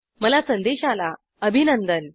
मला संदेश आला अभिनंदन